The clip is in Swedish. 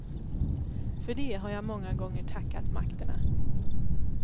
För det har jag många gånger tackat makterna.